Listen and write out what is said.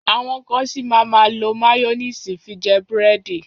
Àwọn kan ṣì máa má lo máyónísì fi jẹ búrẹ́dì.